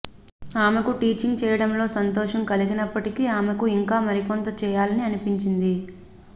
ఆమెకు టీచింగ్ చేయడంలో సంతోషం కలిగిప్పటికీ ఆమెకు ఇంకా మరికొంత చేయాలని అనిపించింది